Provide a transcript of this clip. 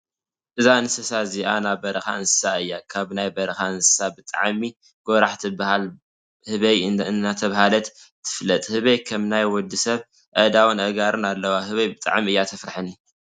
እዛ እንስሳ እዚ ናይ በረካ እንስሳ እያ ። ካብ ናይ በረካ እንስሳ ብጣዕሚ ጎራሕ እትበሃል ህበይ እንዳተባሃለት ትፍለጥ። ህበይ ከም ናይ ወዲሰብ ኣእዳውን ኣእጋርን ኣለዋ። ህበይ ብጣዕሚ እያ ተፍረሐኒ።